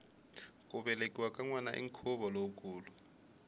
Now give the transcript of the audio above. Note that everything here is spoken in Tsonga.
ku velekiwa ka nwana i nkhuvo lowukulu